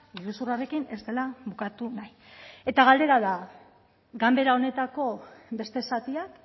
iruzurrarekin ez dela bukatu nahi eta galdera da ganbera honetako beste zatiak